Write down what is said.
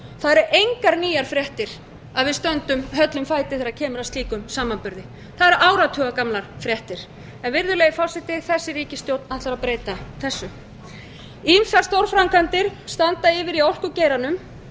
það eru engar nýjar fréttir að við stöndum höllum fæti þegar kemur að slíkum samanburði það eru áratuga gamlar fréttir virðulegi forseti þessi ríkisstjórn ætlar að breyta þessu ýmsar stórframkvæmdir standa yfir í orkugeiranum